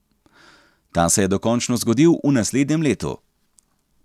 Ta se je dokončno zgodil v naslednjem letu.